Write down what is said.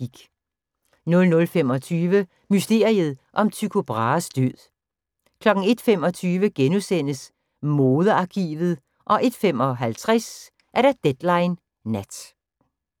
00:25: Mysteriet om Tycho Brahes død 01:25: Modearkivet * 01:55: Deadline Nat